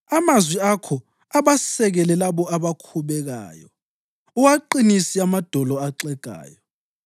Amazwi akho abasekele labo abakhubekayo; uwaqinisile amadolo axegayo.